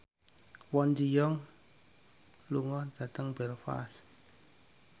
Kwon Ji Yong lunga dhateng Belfast